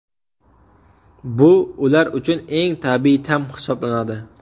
Bu ular uchun eng tabiiy ta’m hisoblanadi.